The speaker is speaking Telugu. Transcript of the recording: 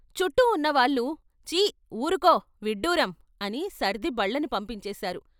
చుట్టూ ఉన్నవాళ్ళు చీ వూరుకో, విడ్డూరం అని సర్ది బళ్లని పంపించేశారు.